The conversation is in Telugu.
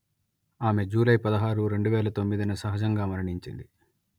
ఆమె జూలై పదహారు రెండు వేల తొమ్మిది న సహజంగా మరణించింది